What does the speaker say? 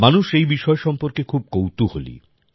মানুষ এই বিষয় সম্পর্কে খুব কৌতূহলী